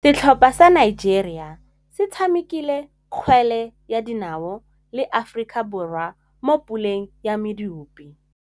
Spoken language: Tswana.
Setlhopha sa Nigeria se tshamekile kgwele ya dinaô le Aforika Borwa mo puleng ya medupe.